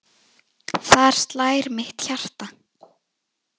Þar slær mitt hjarta.